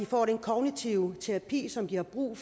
får den kognitive terapi som de har brug